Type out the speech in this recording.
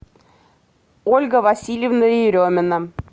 ольга васильевна еремина